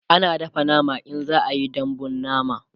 ana dafa nama in za'a Yi dambun nama